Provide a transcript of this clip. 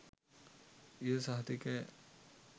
එම සහතිකය